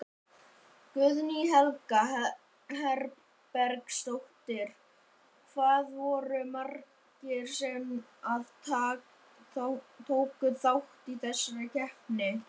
Guðný Helga Herbertsdóttir: Hvað voru margir sem að tóku þátt í þessari keppni?